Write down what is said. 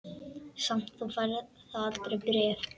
Samt færð þú aldrei bréf.